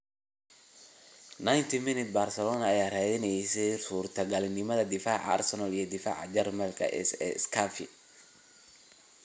(90 MIN) Barcelona ayaa raadineysa suurtagalnimada daafaca Arsenal iyo daafaca Jarmalka S Skafi.